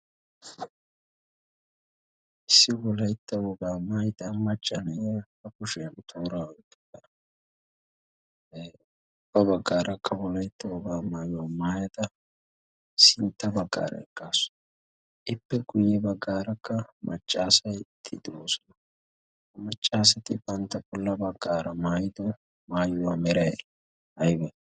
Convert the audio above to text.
issi wolaytta woogaa maayida machchane ha kushiyaa toora ippa ubba baggaarakka wolaytt wogaa maayo maayada sintta baggaara eggaasu ippe guyye baggaarakka maccaasatti doosunu ha maccaasati bantta pulla baggaara maayido maayuwaa meree aybe